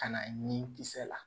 Ka na ni kisɛ la